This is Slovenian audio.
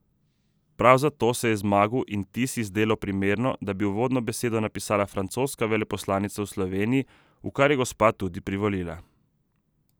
Prav zato se je Zmagu in Tisi zdelo zelo primerno, da bi uvodno besedo napisala francoska veleposlanica v Sloveniji, v kar je gospa tudi privolila.